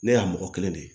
Ne y'a mɔgɔ kelen de